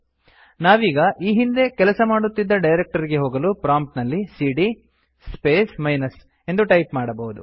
ನಾವೀಗ ಈ ಹಿಂದೆ ಕೆಅಸಮಾಡುತ್ತಿದ್ದ ಡೈರಕ್ಟರಿಗೆ ಹೋಗಲು ಪ್ರೊಮ್ಪ್ಟ್ ನಲ್ಲಿ ಸಿಡಿಯ ಸ್ಪೇಸ್ ಮೈನಸ್ ಎಂದು ಟೈಪ್ ಮಾಡಬಹುದು